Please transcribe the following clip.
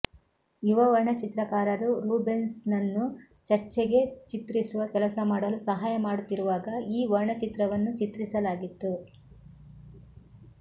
ಯುವ ವರ್ಣಚಿತ್ರಕಾರರು ರೂಬೆನ್ಸ್ನನ್ನು ಚರ್ಚ್ಗೆ ಚಿತ್ರಿಸುವ ಕೆಲಸ ಮಾಡಲು ಸಹಾಯ ಮಾಡುತ್ತಿರುವಾಗ ಈ ವರ್ಣಚಿತ್ರವನ್ನು ಚಿತ್ರಿಸಲಾಗಿತ್ತು